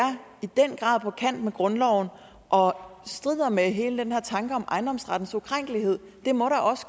på kant med grundloven og strider med hele den her tanke om ejendomsrettens ukrænkelighed det må